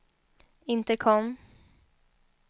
intercom